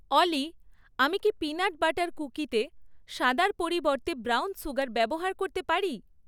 অলি আমি কি peanut butter কুকিতে সাদার পরিবর্তে ব্রাউন সুগার ব্যবহার করতে পারি?